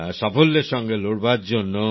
সাফল্যের সঙ্গে লড়বার জন্যে